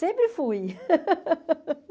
Sempre fui.